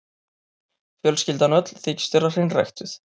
Fjölskyldan öll þykist vera hreinræktuð.